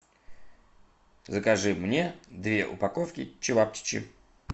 закажи мне две упаковки чевапчичи